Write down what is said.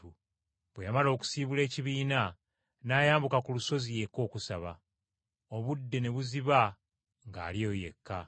Bwe yamala okusiibula ekibiina n’ayambuka ku lusozi yekka okusaba. Obudde ne buziba ng’ali eyo yekka.